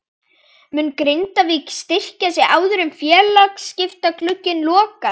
Mun Grindavík styrkja sig áður en félagaskiptaglugginn lokar?